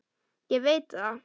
Ég veit það